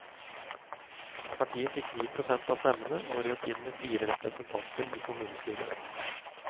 Partiet fikk ni prosent av stemmene og røk inn med fire representanter i kommunestyret.